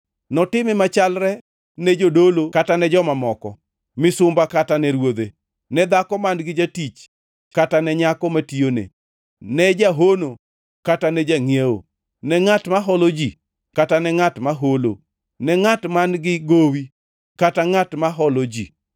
Notime machalre ne jodolo kata ne joma moko, misumba kata ne ruodhe, ne dhako man-gi jatich kata ne nyako matiyone, ne jahono kata ne jangʼiewo, ne ngʼat ma holo ji, kata ne ngʼat ma holo, ne ngʼat man-gi gowi kata ngʼat ma holo ji.